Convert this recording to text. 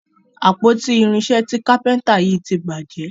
àpótí irinṣẹ tí kápẹ́ńtà yí tí bàjé.